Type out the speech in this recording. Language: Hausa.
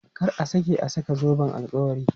Kar a sake saka zoben alkawari!